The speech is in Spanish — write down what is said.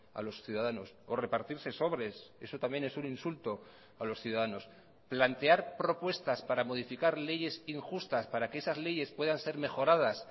a los ciudadanos o repartirse sobres eso también es un insulto a los ciudadanos plantear propuestas para modificar leyes injustas para que esas leyes puedan ser mejoradas